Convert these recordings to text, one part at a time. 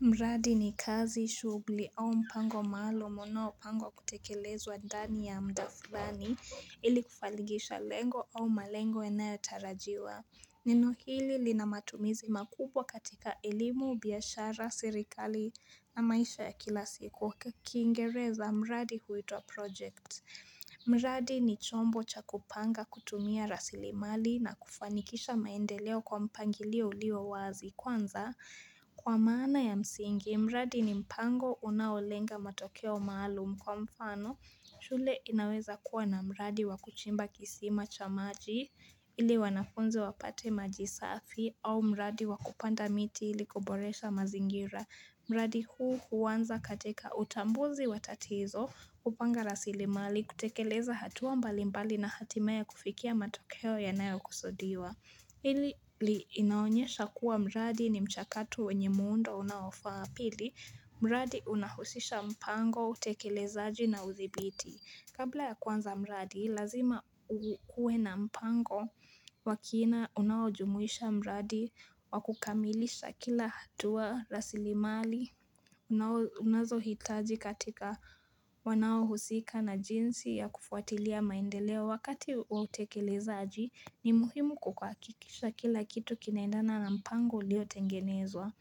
Mradi ni kazi, shughuli au mpango maalum unaopangwa kutekelezwa ndani ya muda fulani ili kufanikisha lengo au malengo yanayo tarajiwa. Neno hili lina matumizi makubwa katika eilimu, biashara, serikali na maisha ya kila siku. Kiingereza mradi huwitwa project. Mradi ni chombo cha kupanga kutumia rasilimali na kufanikisha maendeleo kwa mpangilio ulio wazi. Kwanza kwa maana ya msingi, mradi ni mpango unaolenga matokeo maalum kwa mfano, shule inaweza kuwa na mradi wa kuchimba kisima cha maji ili wanafunze wapate majisafi au mradi wa kupanda miti ili kuboresha mazingira. Mradi huu huanza katika utambuzi watatizo kupanga rasilimali, kutekeleza hatua mbali mbali na hatimaye kufikia matokeo yanayo kusudiwa hili inaonyesha kuwa mradi ni mchakato wenye muundo unaofaa. Pili, mradi unahusisha mpango, utekelezaaji na uthibiti. Kabla ya kuanza mradi, lazima ukue na mpango wa kina unaojumuisha mradi wakukamilisha kila hatua rasilimali, unazohitaji katika wanao husika na jinsi ya kufuatilia maendeleo wakati wa utekelezaaji, ni muhimu kuhakikisha kila kitu kinaendana na mpango uliotengenezwa.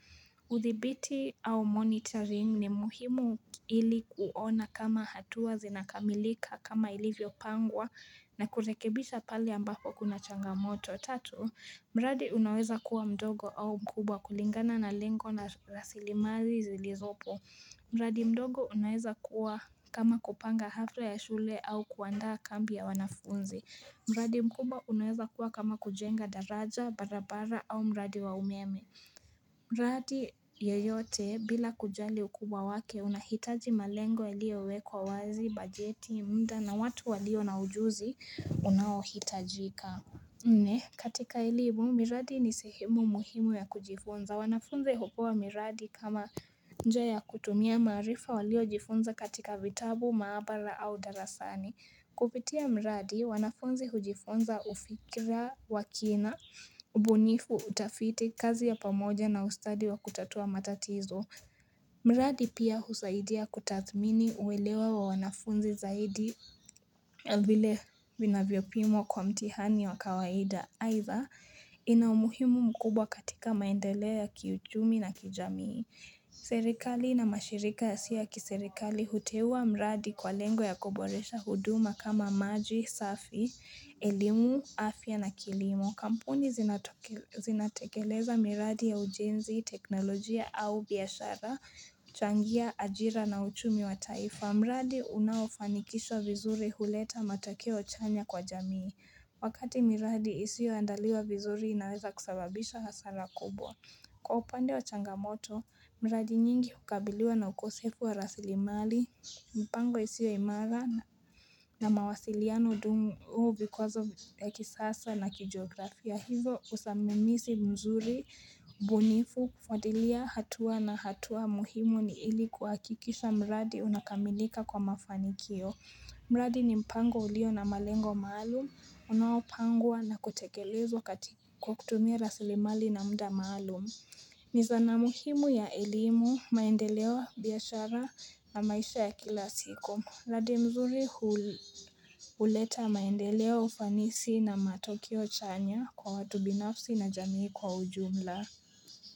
Uthibiti au monitoring ni muhimu ili kuona kama hatua zinakamilika kama ilivyo pangwa na kurekebisha pale ambapo kuna changamoto. Tatu, mradi unaweza kua mdogo au mkubwa kulingana na lengo na rasilimazi zilizopo mradi mdogo unaweza kua kama kupanga hafla ya shule au kuandaa kambi ya wanafunzi. Mradi mkubwa unaweza kuwa kama kujenga daraja, barabara au mradi wa umeme mradi yeyote bila kujali ukubwa wake unahitaji malengo yaliowekwa wazi, bajeti, muda na watu walio na ujuzi unaohitajika Nne, katika elimu, miradi ni sehimu muhimu ya kujifunza. Wanafunze hupewa miradi kama njia kutumia maarifa waliojifunza katika vitabu, maabara au darasani. Kupitia mradi, wanafunzi hujifunza ufikira wa kina, ubunifu, utafiti, kazi ya pamoja na ustadi wa kutatua matatizo. Mradi pia husaidia kutathmini uwelewa wa wanafunzi zaidi vile vinavyo pimwa kwa mtihani wa kawaida. Aidha ina umuhimu mkubwa katika maendeleo ya kiuchumi na kijamii. Serikali na mashirika yasio ya kiserikali huteuwa mradi kwa lengo ya koboresha huduma kama maji safi, elimu, afya na kilimo. Kampuni zinatekeleza miradi ya ujenzi, teknolojia au biashara kuchangia ajira na uchumi wa taifa. Mradi unaofanikishwa vizuri huleta matakeo chanya kwa jamii Wakati miradi isio andaliwa vizuri inaweza kusababisha hasara kubwa Kwa upande wa changamoto, miradi nyingi hukabiliwa na ukosefu wa rasilimali, mpango isiyo imara na mawasiliano duni huu vikwazo vya kisiasa na kijiografia. Hivo usimamizi mzuri, ubunifu, kufuatilia hatua na hatua muhimu ni ili kuhakikisha mradi unakamilika kwa mafanikio. Mradi ni mpango ulio na malengo maalum, unaopangwa na kutekelezwa kwa kukutumia rasilimali na muda maalum. Ni zana muhimu ya elimu maendeleo, biashara na maisha ya kila siku. Mradi mzuri huleta maendeleo ufanisi na matokeo chanya kwa watu binafsi na jamii kwa ujumla.